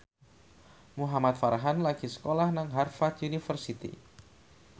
Muhamad Farhan lagi sekolah nang Harvard university